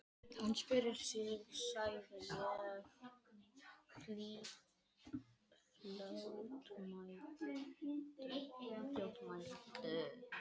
Hann spjarar sig sagði ég fljótmæltur.